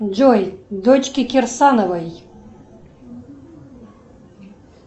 джой дочки кирсановой